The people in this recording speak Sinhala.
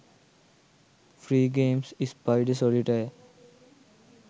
free games spider solitaire